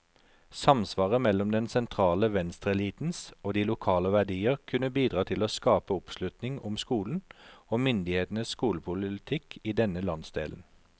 Samsvaret mellom den sentrale venstreelitens og de lokale verdier kunne bidra til å skape oppslutning om skolen, og myndighetenes skolepolitikk i denne landsdelen.